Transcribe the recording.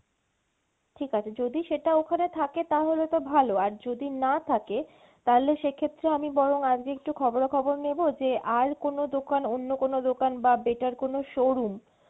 ঠিকআছে যদি সেটা ওখানে থাকে তাহলে তো ভালো আর যদি না থাকে তাহলে সেক্ষেত্রে আমি বরং আজকে একটু খবরা খবর নেবো যে আর কোনো দোকান অন্য কোনো দোকান বা better কোনো showroom